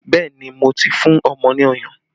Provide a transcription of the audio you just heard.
Bẹẹ ni, mo ti fún ọmọ ní ọyàn